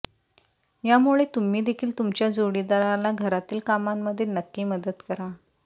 यामुळे तुम्ही देखील तुमच्या जोडीदाराला घरातील कामांमध्ये नक्की मदत करा